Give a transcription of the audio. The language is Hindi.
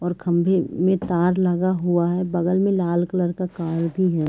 और खम्बे में तार लगा हुआ है। बगल में लाल कलर का कार भी है।